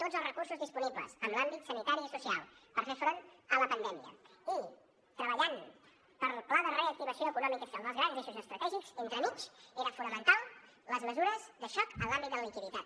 tots els recursos disponibles en l’àmbit sanitari i social per fer front a la pandèmia i treballant pel pla de reactivació econòmica i social dels grans eixos estratègics entremig eren fonamentals les mesures de xoc en l’àmbit de la liquiditat